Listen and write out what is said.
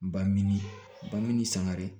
Ba min ba min sangare